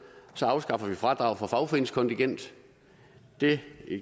så afskaffer vi fradrag for fagforeningskontingent det